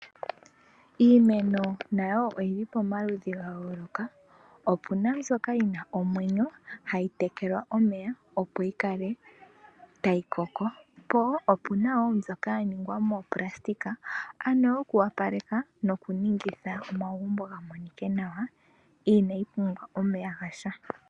Iimeno nayo oyili pamaludhi gayooloka, opuna mbyoka yina omwenyo hayi tekelwa omeya opo yikale tayi koko, po opuna wo mbyoka yaningwa mooplasitika ano yoku opaleka nokunighitha omagumbo gamonile nawa. Inayi pumbwa omeya gasha.